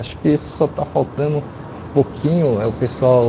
Acho que só está faltando um pouquinho, é o pessoal...